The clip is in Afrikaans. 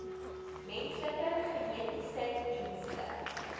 menslike genetiese dienste